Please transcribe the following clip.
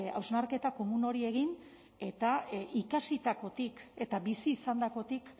hausnarketa komun hori egin eta ikasitakotik eta bizi izandakotik